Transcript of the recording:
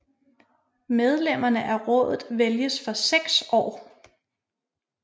Medlemmerne af rådet vælges for 6 år